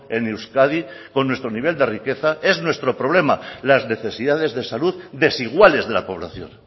en euskadi con nuestro nivel de riqueza es nuestro problema las necesidades de salud desiguales de la población